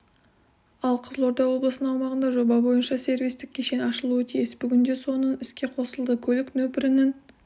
ал қызылорда облысының аумағында жоба бойынша сервистік кешен ашылуы тиіс бүгінде соның іске қосылды көлік нөпірінің